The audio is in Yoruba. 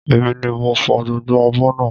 Èmi ni mo fò gbogbo abọ́ náà